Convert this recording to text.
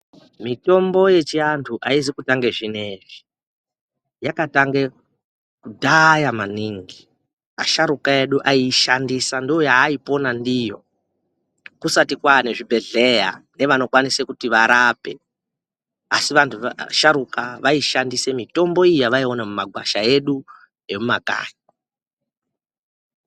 Miyombo yechiantu aizi kutange zvinezvi yakatange kudhaya maningi asharuka vedu vaaishandisa ndoyaaipona ndiyo kusati kwaane zvibhedhleya nevanokwanise kuti varape asi vantu vasharuka vaishandise mitombo iyi yavaione mumagwasha edu emumakanyi.